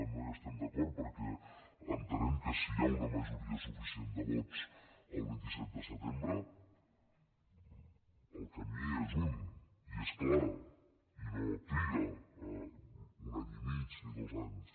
no hi estem d’acord perquè entenem que si hi ha una majoria suficient de vots el vint set de setembre el camí és un i és clar i no triga un any i mig ni dos anys